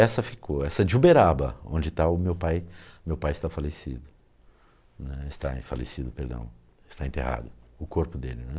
Essa ficou, essa de Uberaba, onde está o meu pai, meu pai está falecido , né, está em falecido, perdão, está enterrado, o corpo dele, né.